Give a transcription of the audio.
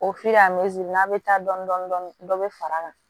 O a n'a bɛ taa dɔɔnin dɔɔnin dɔ bɛ far'a kan